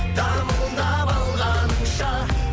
дамылдап алғаныңша